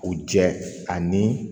U jɛ ani